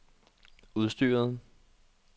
udstyret